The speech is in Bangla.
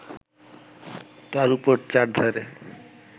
তার উপর চারধারে